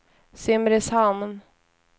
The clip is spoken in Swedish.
Simrishamn